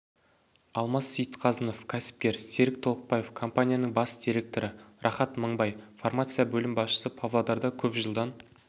алмас сейітқазынов кәсіпкер серік толықбаев компанияның бас директоры рахат мыңбай фармация бөлім басшысы павлодарда көп жылдан